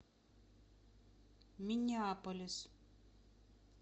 миннеаполис